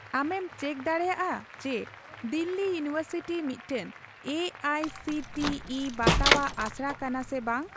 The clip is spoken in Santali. ᱟᱢᱮᱢ ᱪᱮᱠ ᱫᱟᱲᱮᱭᱟᱜᱼᱟ ᱡᱮ ᱫᱤᱞᱞᱤ ᱤᱭᱩᱱᱤᱵᱷᱟᱨᱥᱤᱴᱤ ᱢᱤᱫᱴᱟᱝ A I C T E ᱵᱟᱛᱟᱣᱟᱜ ᱟᱥᱲᱟ ᱠᱟᱱᱟ ᱥᱮ ᱵᱟᱝ ?